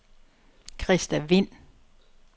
Christa Vind